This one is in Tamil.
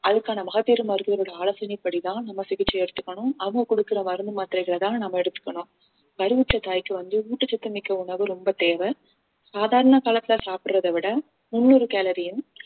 அதுக்கான மகப்பேறு மருத்துவரோட ஆலோசனைப்படிதான் நம்ம சிகிச்சை எடுத்துக்கணும் அவங்க குடுக்கற மருந்து மாத்திரைகளைதான் நாம எடுத்துக்கணும் கருவுற்ற தாய்க்கு வந்து ஊட்டச்சத்து மிக்க உணவு ரொம்ப தேவை சாதாரண காலத்துல சாப்பிடறதை விட முன்னூறு கலோரியும்